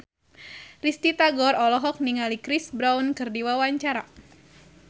Risty Tagor olohok ningali Chris Brown keur diwawancara